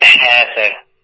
হ্যাঁ হ্যাঁ স্যার